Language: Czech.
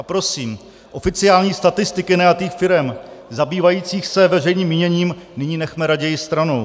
A prosím, oficiální statistiky najatých firem zabývajících se veřejným míněním nyní nechme raději stranou.